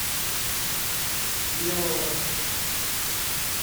белого